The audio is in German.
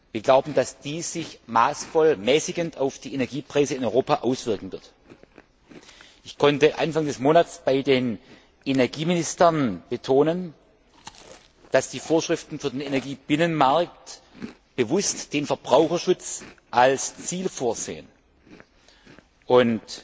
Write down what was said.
Wir glauben, dass dies sich mäßigend auf die Energiepreise in Europa auswirken wird. Ich konnte Anfang des Monats vor den Energieministern betonen, dass die Vorschriften für den Energiebinnenmarkt bewusst den Verbraucherschutz als Ziel vorsehen und